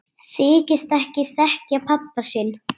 Þykist ekki þekkja pabba sinn!